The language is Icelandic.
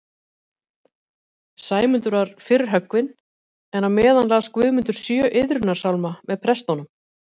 Sæmundur var fyrr höggvinn, en á meðan las Guðmundur sjö iðrunarsálma með prestunum